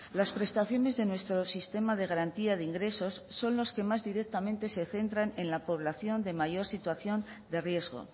las prestaciones de nuestro sistema de garantía de ingresos son lo que más directamente se centran en la población de mayor situación de riesgo